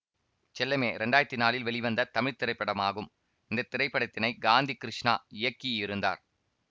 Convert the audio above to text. செல்லமே இரண்டாயிரத்தி நாலில் வெளிவந்த தமிழ் திரைப்படமாகும் இந்த திரைப்படத்தினை காந்தி கிருஷ்ணா இயக்கியிருந்தார்